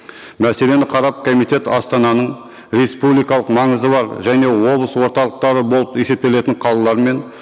мәселені қарап комитет астананың республикалық маңызы бар және облыс орталықтары болып есептелетін қалалар мен